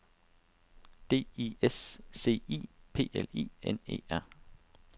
D I S C I P L I N E R